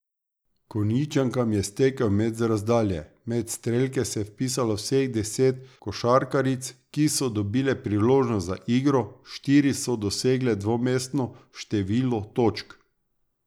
Konjičankam je stekel met z razdalje, med strelke se je vpisalo vseh deset košarkaric, ki so dobile priložnost za igro, štiri so dosegle dvomestno število točk.